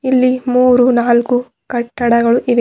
ಇಲ್ಲಿ ಮೂರು ನಾಲ್ಕು ಕಟ್ಟಡಗಳು ಇವೆ.